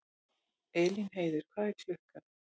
Elínheiður, hvað er klukkan?